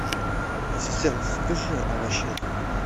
ассистент закажи овощей